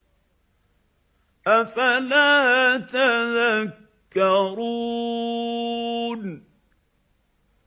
أَفَلَا تَذَكَّرُونَ